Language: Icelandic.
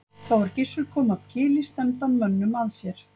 Þá er Gissur kom af Kili stefndi hann mönnum að sér.